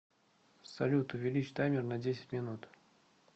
салют увеличь таймер на десять минут